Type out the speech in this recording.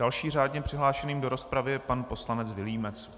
Dalším řádně přihlášeným do rozpravy je pan poslanec Vilímec.